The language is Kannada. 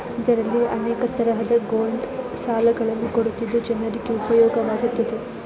ಇದರಲ್ಲಿ ಅನೇಕ ತರಹದ ಗೋಲ್ಡ್ ಸಾಲಗಳನ್ನೂ ಕೊಡುತ್ತಿದ್ದ ಚಿನ್ನದ